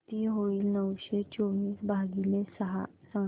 किती होईल नऊशे चोवीस भागीले सहा सांगा